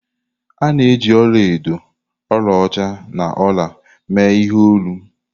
A na-eji ọla edo, ọlaọcha na ọla mee ihe olu.